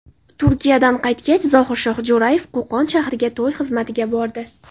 Turkiyadan qaytgan Zohirshoh Jo‘rayev Qo‘qon shahriga to‘y xizmatiga bordi.